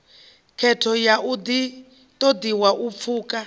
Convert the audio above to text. khetho ha ṱoḓi u pfukwa